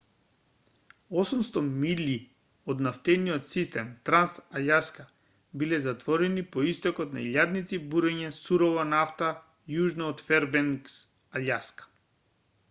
800 милји од нафтениот систем транс-алјаска биле затворени по истекот на илјадници буриња сурова нафта јужно од фербенкс алјаска